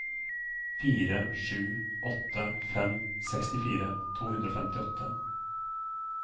fire sju åtte fem sekstifire to hundre og femtiåtte